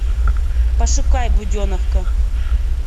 пошукай буденовка